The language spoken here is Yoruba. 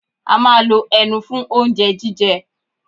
A ma lo ẹnu fún oúnjẹ jíjẹ.